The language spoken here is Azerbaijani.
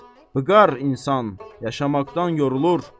bığar insan yaşamaqdan yorulur.